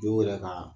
Jo yɛrɛ ka